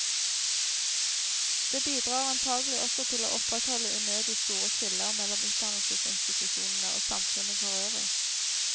Det bidrar antagelig også til å opprettholde unødig store skiller mellom utdannelsesinstitusjonene og samfunnet forøvrig.